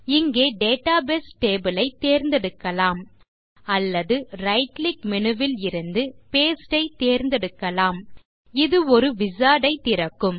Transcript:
இங்கே database table ஐ தேர்ந்தெடுக்கலாம் அல்லது ரைட் கிளிக் மேனு லிருந்து பாஸ்டே ஐ தேர்ந்தெடுக்கலாம் இது ஒரு விசார்ட் ஐ திறக்கும்